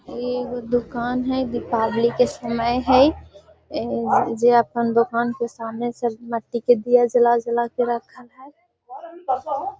इ एगो दुकान हेय दीपावली के समय है ए जे अपन दुकान के सामने से मिट्टी के दिया जले जले के रखल हेय।